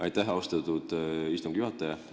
Aitäh, austatud istungi juhataja!